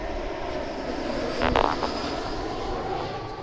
Sæll, Gylfi, þetta er Urður, konan hans séra Aðal steins.